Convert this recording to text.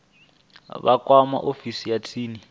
vha kwame ofisi ya tsini